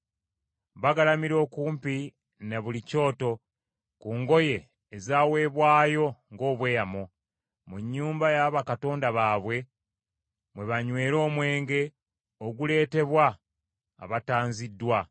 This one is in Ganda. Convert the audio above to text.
Bagalamira okumpi ne buli kyoto ku ngoye ezaweebwayo ng’obweyamo. Mu nnyumba ya bakatonda baabwe mwe banywera omwenge oguleetebwa abatanziddwa.